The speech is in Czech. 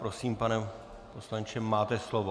Prosím, pane poslanče, máte slovo.